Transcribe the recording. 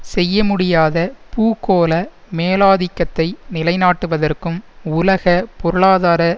செய்ய முடியாத பூகோள மேலாதிக்கத்தை நிலைநாட்டுவதற்கும் உலக பொருளாதார